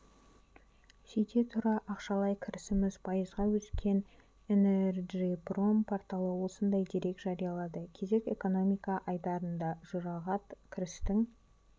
сөйте тұра ақшалай кірісіміз пайызға өскен энерджипром порталы осындай дерек жариялады кезек экономика айдарында жұрағат кірістің